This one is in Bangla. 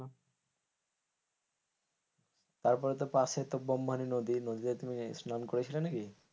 তারপরও তো পাশে তো বোম্বানি নদী, নদীতে তুমি স্নান করেছিলেন নাকি?